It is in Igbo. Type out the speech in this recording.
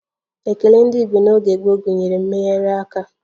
Ekele ndị Igbo n'oge gboo gụnyere mmegharị aka